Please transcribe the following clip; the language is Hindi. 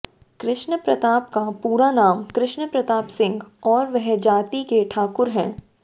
कृष्ण प्रताप का पूरा नाम कृष्ण प्रताप सिंह और वह जाति के ठाकुर हैं